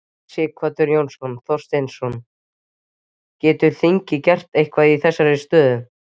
Sighvatur Jónsson: Þorsteinn, getur þingið gert eitthvað í þessari aðstöðu?